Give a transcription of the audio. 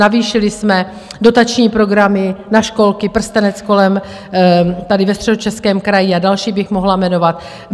Navýšili jsme dotační programy na školky, prstenec kolem tady ve Středočeském kraji a další bych mohla jmenovat.